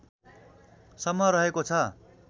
सम्म रहेको छ